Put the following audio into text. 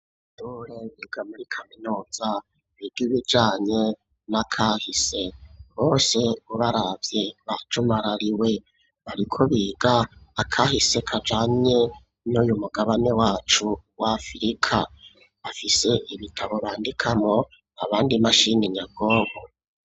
Abanyeshure biga muri kaminuza biga ibijanye n'akahise. Bose ubaravye bajumarariwe. Bariko biga akahise kajanye n'uyu mugabane wacu wa Afrika. Bafise ibitabo bandikamwo, abandi imashini nyabwonko.